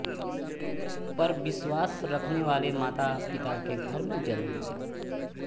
पर विस्वास रखने वाले माता पिता के घर में जन्म लिया